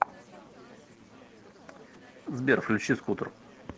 сбер включи скутер